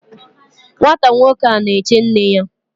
Nwata nwoke a na-eche nne ya